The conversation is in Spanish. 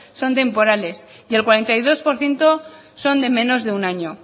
son temporales y el cuarenta y dos por ciento son de menos de un año